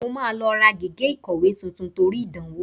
Mo máa lọ ra gègé ìkọ̀wé tuntun torí ìdánwò